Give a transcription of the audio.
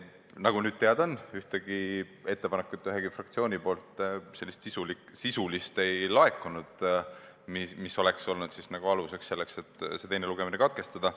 Nagu nüüd on teada, siis ühtegi ettepanekut üheltki fraktsioonilt ei laekunud, sisulist ettepanekut, mis oleks olnud aluseks sellele, et teine lugemine katkestada.